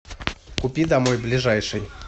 купи домой ближайший